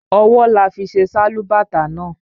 Ọwọ là fi ṣe Sálúbàtà náà